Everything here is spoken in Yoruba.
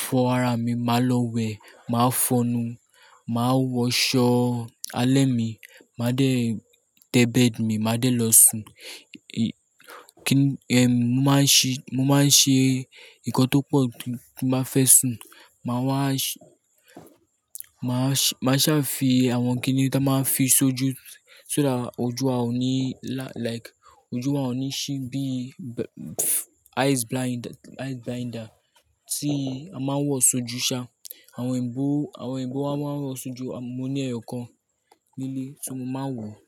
fọ ara mi, màá lọ wẹ̀, màá fọnu, màá wọ aṣọ alẹ́ mi, màá dé tẹ bed mi, màá dé lọ sùn. Mo máa ń ṣe nǹkan tó pọ̀ tím bá fẹ́ sùn. Màá sá fi àwọn kíni tí a máa ń fi sojú, so that ojú wa ò ní ṣí bí eyes blinder tí a máa ń wọ sojú ṣá. Àwọn ìbọ̀ wá máa ń wọ sojú. Mo ní ẹ̀yọ̀ kan nílé so mo máa ń wọ.